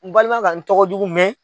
N balima ka n tɔgɔ jugu mɛn.